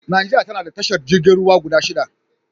Najeriya ta na da tashar jirgin ruwa guda shida.